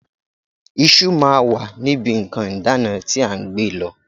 Iṣu máa wà níbi nǹkan ìdána tí à ń gbé lọ.